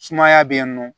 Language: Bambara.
Sumaya be yen nɔ